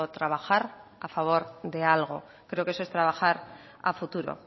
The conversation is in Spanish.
trabajar a favor de algo creo que eso es trabajar a futuro